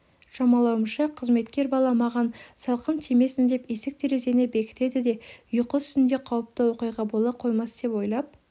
шамалауымша қызметкер бала маған салқын тимесін деп есік-терезені бекітеді де ұйқы үстінде қауіпті оқиға бола қоймас деп ойлап